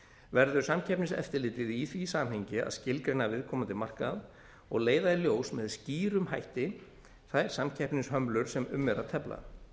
verður samkeppniseftirlitið í því samhengi að skilgreina viðkomandi markað og leiða í ljós með skýrum hætti þær samkeppnishömlur sem um er að tefla